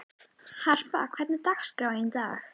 Harpa, hvernig er dagskráin í dag?